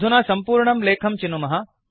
अधुना संपूर्णं लेखं चिनुमः